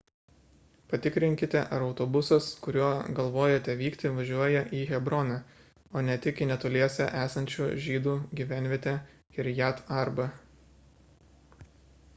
patikrinkite ar autobusas kuriuo galvojate vykti važiuoja į hebroną o ne tik į netoliese esančią žydų gyvenvietę kirjat arbą